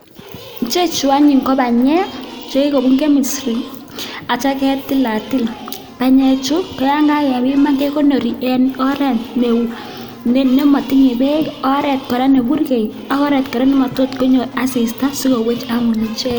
Ichechu anyun ko banyek chekikobun chemistry akitio ketilatil, banyechu ko yoon kakebiman kekonori en oreet nemotinye beek, oreet neburkei ak oreet kora nemotot konyor asista sikowech anyun icheket.